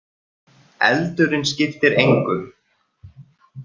Eldurinn skiptir engu!